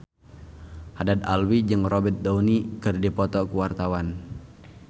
Haddad Alwi jeung Robert Downey keur dipoto ku wartawan